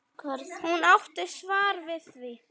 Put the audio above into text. Hún átti svar við því.